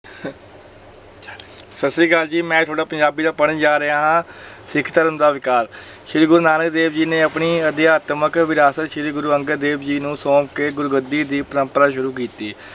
ਸਤਿ ਸ੍ਰੀ ਅਕਾਲ ਜੀ ਮੈਂ ਤੁਹਾਡਾ ਪੰਜਾਬੀ ਦਾ ਪੜ੍ਹਨ ਜਾ ਰਿਹਾ ਹਾਂ, ਸਿੱਖ ਧਰਮ ਦਾ ਵਿਕਾਸ, ਸ੍ਰੀ ਗੁਰੂ ਨਾਨਕ ਦੇਵ ਜੀ ਨੇ ਆਪਣੀ ਅਧਿਆਤਮਕ ਵਿਰਾਸਤ ਸ੍ਰੀ ਗੁਰੂ ਅੰਗਦ ਦੇਵ ਜੀ ਨੂੰ ਸੌਂਪ ਕੇ ਗੁਰੂਗੱਦੀ ਦੀ ਪਰੰਪਰਾ ਸ਼ੁਰੂ ਕੀਤੀ।